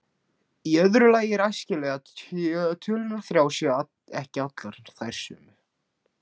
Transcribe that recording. Í öðru lagi er æskilegt að tölurnar þrjár séu ekki allar þær sömu.